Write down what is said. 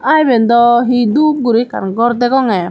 aa iben daw hee doob guri ekkan gor degongey.